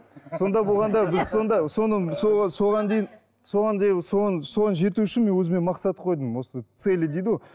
сонда болғанда біз сонда соған дейін соған жету үшін мен өзіме мақсат қойдым осы цели дейді ғой